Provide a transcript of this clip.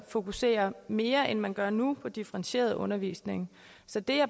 fokusere mere end man gør nu på differentieret undervisning så det